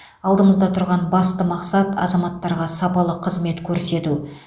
алдымызда тұрған басты мақсат азаматтарға сапалы қызмет көрсету